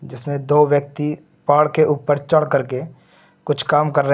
जिसमें दो व्यक्ति पहाड़ के ऊपर चढ़ कर के कुछ काम कर रहे हैं।